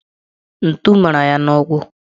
Ntu mara ya n'ụkwụ